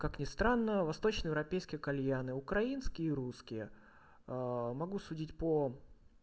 как ни странно восточноевропейских кальяны украинские и русские могу судить по